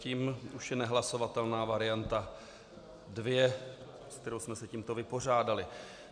Tím už je nehlasovatelná varianta 2, s kterou jsme se tímto vypořádali.